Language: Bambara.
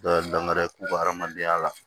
Dɔ ye danŋa k'u ka adamadenya la